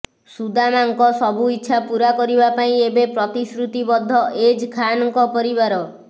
ସୁଦାମାଙ୍କ ସବୁ ଇଚ୍ଛା ପୁରା କରିବା ପାଇଁ ଏବେ ପ୍ରତିଶୃତି ବଦ୍ଧ ଏଜ୍ ଖାନଙ୍କ ପରିବାର